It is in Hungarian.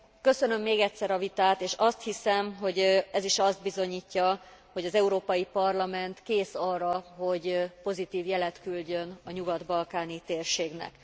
Köszönöm még egyszer a vitát és azt hiszem, hogy ez is azt bizonyítja, hogy az Európai Parlament kész arra, hogy pozitív jelet küldjön a nyugat balkáni térségnek.